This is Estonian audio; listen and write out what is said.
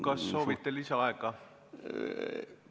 Kas soovite lisaaega?